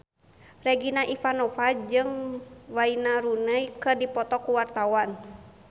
Regina Ivanova jeung Wayne Rooney keur dipoto ku wartawan